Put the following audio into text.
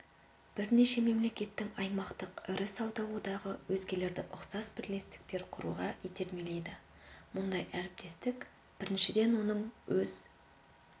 бірнеше мемлекеттің аймақтық ірі сауда одағы өзгелерді ұқсас бірлестіктер құруға итермелейді мұндай әріптестік біріншіден оның өз